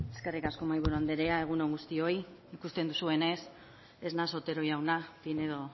eskerrik asko mahaiburu anderea egun on guztioi ikusten duzuenez ez naiz otero jauna pinedo